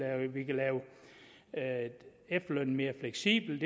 at vi kan lave efterlønnen mere fleksibel